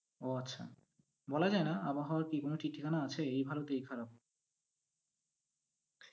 ওহ আচ্ছা, বলা যায় না, আবহাওয়ার কি কোনো ঠিক ঠিকানা আছে? এই ভালো তো এই খারাপ।